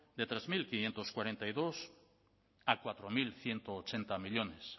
de tres mil quinientos cuarenta y dos a cuatro mil ciento ochenta millónes